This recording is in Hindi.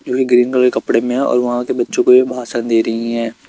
जो ये ग्रीन कलर के कपड़े में है और वहां के बच्चों को यह भाषण दे रही है।